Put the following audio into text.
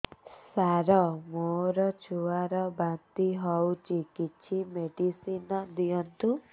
ସାର ମୋର ଛୁଆ ର ବାନ୍ତି ହଉଚି କିଛି ମେଡିସିନ ଦିଅନ୍ତୁ